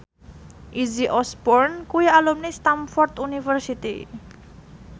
Izzy Osborne kuwi alumni Stamford University